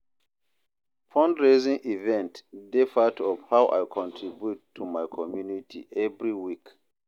Fundraising events dey part of how I contribute to my community every week.